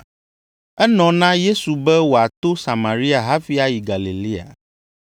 Enɔ na Yesu be wòato Samaria hafi ayi Galilea.